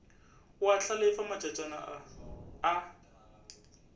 o a hlalefa matšatšana a